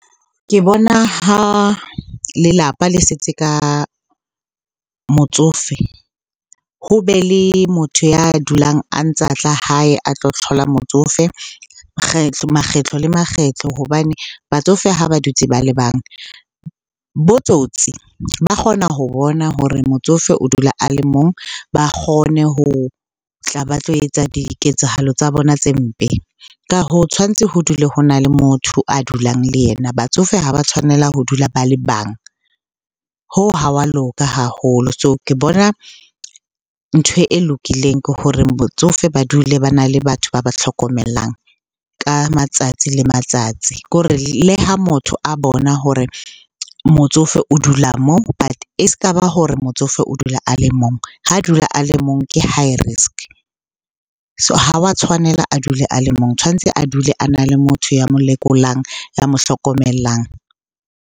Ke bona ha lelapa le setse ka motsofe, ho be le motho ya dulang a ntsa tla hae a tlo tlhola motsofe makgetlo le makgetlo hobane batsofe ha ba dutse ba le bang, bo tsotsi ba kgona ho bona hore motsofe o dula a le mong. Ba kgone ho tla ba tlo etsa diketsahalo tsa bona tse mpe. Ka hoo tshwantse ho dula ho na le motho a dulang le yena, batsofe ha ba tshwanela ho dula ba le bang, hoo ha wa loka haholo. So ke bona ntho e lokileng ke hore botsofe ba dule bana le batho ba ba tlhokomelang ka matsatsi le matsatsi. Ke hore le ha motho a bona hore motsofe o dula moo but e s'ka ba hore motsofe o dula a le mong, ha a dula a le mong ke high risk. So ha wa tshwanela a dule a le mong, tshwantse a dule a na le motho ya mo lekolang, ya mo hlokomelang.